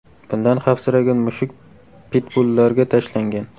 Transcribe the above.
Bundan xavfsiragan mushuk pitbullarga tashlangan.